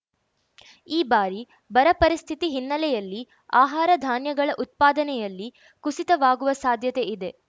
ಈ ಬಾರಿ ಬರ ಪರಿಸ್ಥಿತಿ ಹಿನ್ನೆಲೆಯಲ್ಲಿ ಆಹಾರ ಧಾನ್ಯಗಳ ಉತ್ಪಾದನೆಯಲ್ಲಿ ಕುಸಿತವಾಗುವ ಸಾಧ್ಯತೆ ಇದೆ